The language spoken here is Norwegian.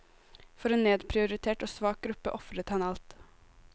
For en nedprioritert og svak gruppe ofret han alt.